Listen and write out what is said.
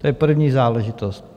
To je první záležitost.